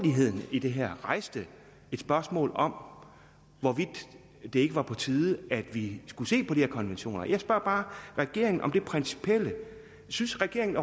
i det her rejser et spørgsmål om hvorvidt det ikke var på tide at vi skulle se på de her konventioner jeg spørger bare regeringen om det principielle synes regeringen